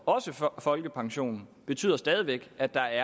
også for folkepensionen betyder stadig væk at der